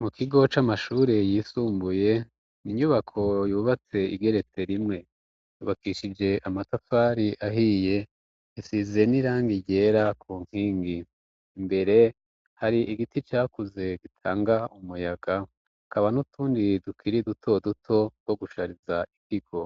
Mu kigo c'amashure yisumbuye inyubako yubatse igeretse rimwe ubakishije amatafari ahiye isize n'iranga iryera ku nkingi imbere hari igiti cakuze gitanga umuyaga kaba n'utundiri dukiri duto duto ko rushariza ikigo